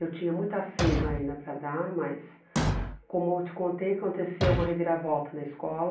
Eu tinha muita seiva ainda para dar, mas, como eu te contei, aconteceu uma reviravolta na escola.